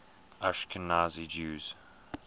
ashkenazi jews